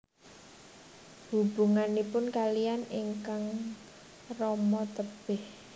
Hubunganipun kaliyan ingkang rama tebih